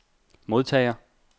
modtager